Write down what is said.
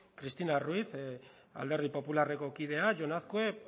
cristina ruiz alderdi popularreko kidea jon azkue